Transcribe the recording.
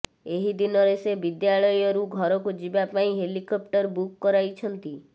ଏହି ଦିନରେ ସେ ବିଦ୍ୟାଳୟରୁ ଘରକୁ ଯିବା ପାଇଁ ହେଲିକେପ୍ଟର ବୁକ୍ କରାଇଛନ୍ତି